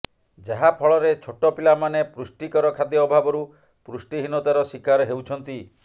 ଯାହା ଫଳରେ ଛୋଟ ପିଲାମାନେ ପୁଷ୍ଟିକର ଖାଦ୍ୟ ଅଭାବରୁ ପୁଷ୍ଟିହୀନତାର ଶିକାର ହେଉଛନ୍ତି